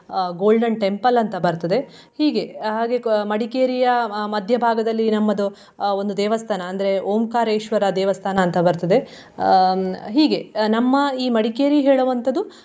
ಅಹ್ Golden Temple ಅಂತ ಬರ್ತದೆ ಹೀಗೆ ಹಾಗೆ ಅಹ್ ಮಡಿಕೇರಿಯ ಅಹ್ ಮಧ್ಯಭಾಗದಲ್ಲಿ ನಮ್ಮದು ಅಹ್ ಒಂದು ದೇವಸ್ಥಾನ ಅಂದ್ರೆ ಓಂಕಾರೇಶ್ವರ ದೇವಸ್ಥಾನ ಅಂತ ಬರ್ತದೆ ಅಹ್ ಹೀಗೆ ನಮ್ಮ ಈ ಮಡಿಕೇರಿ ಹೇಳುವಂತದು.